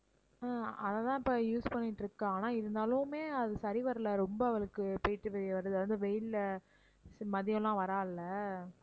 ஆஹ் அதை தான் இப்போ use பண்ணிட்டிருக்கா ஆனா இருந்தாலுமே அது சரி வரல ரொம்ப அவளுக்கு அதுவும் வெயில்ல மதியம்லாம் வர்றா இல்ல